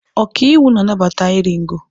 Ọkàiwu na-anabata iri ngo.